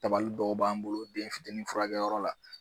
Tabali dɔw b'an bolo denfitini furakɛyɔrɔ la